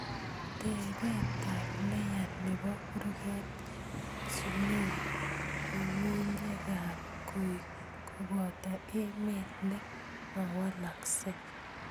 Tebetab neya nebo kurget cheo ngungunyekab koik koboto emet ne mawalaksei